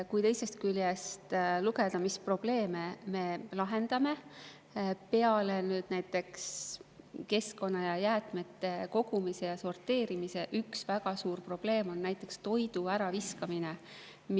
Kui teisest küljest vaadata, mis probleeme me lahendame, siis keskkonda puudutavalt on peale jäätmete kogumise ja sorteerimise üks väga suur probleem toidu äraviskamine.